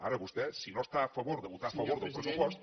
ara vostè si no està a favor de votar a favor del pressupost